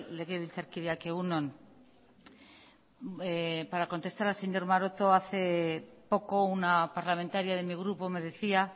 legebiltzarkideak egun on para contestar al señor maroto hace poco una parlamentaria de mi grupo me decía